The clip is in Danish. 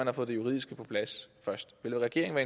har fået det juridiske på plads vil regeringen